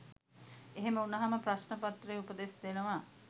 එහෙම වුණහම ප්‍රශ්න පත්‍රයේ උපදෙස් දෙනවා